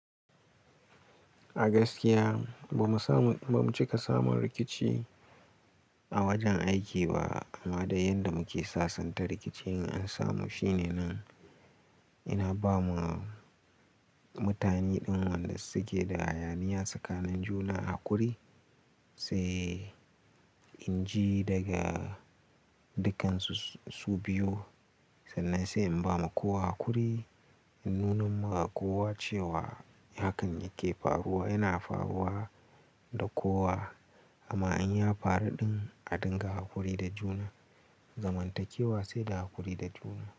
A gaskiya, ba mu cika samun rikici a wajen aiki ba amma da yanda muke sasanta rikici in an samu shine nan. Ina ba wa mutane ɗin, wanda suke da hayaniya tsakanin juna a kuri sai in ji daga dukkansu su biyu sannan sai in ba ma kowa kuri. In nuna ma kowa cewa hakan yake faruwa, yana faruwa da kowa amma in ya faru ɗin a dinga hakuri da juna, zamantakewa sai da haƙuri da juna.